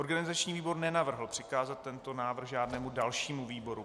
Organizační výbor nenavrhl přikázat tento návrh žádnému dalšímu výboru.